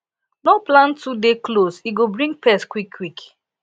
no plant too dey close e go bring pest quickquick